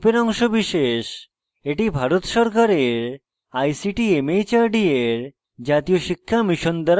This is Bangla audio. এটি ভারত সরকারের ict mhrd এর জাতীয় শিক্ষা mission দ্বারা সমর্থিত